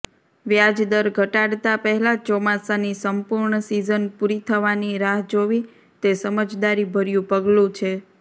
વ્યાજદર ઘટાડતાં પહેલાં ચોમાસાની સંપૂર્ણ સિઝન પૂરી થવાની રાહ જોવી તે સમજદારીભર્યું પગલું છે